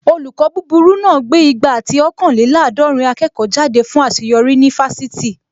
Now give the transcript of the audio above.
Olùkọ́ búburú náà gbé igba ati ọ̀kanlélàádọ̀rìn akẹ́kọ̀ọ́ jáde fún àṣeyọrí ní ifásitì